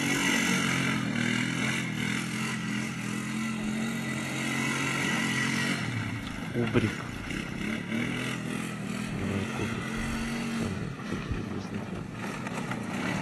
кубрик да кубрик самые такие известные фильмы